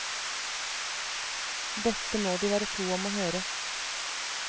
Dette må de være to om å høre.